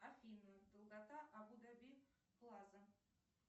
афина долгота абу даби плаза